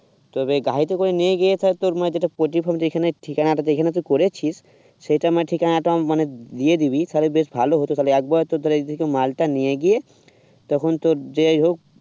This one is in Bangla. তবে গাড়িতে করে নিয়ে তাহলে তোর পোল্ট্রি farm যেখানে ঠিকানাটা যেখানে তুই করেছিস সেখানকার ঠিকানাটা মানে দিয়ে দিবি তাহলে বেশ ভালই হতো তাহলে একবারে তোর ধর ওইদিকে মালটা নিয়ে গিয়ে এখন তোর যেই হোক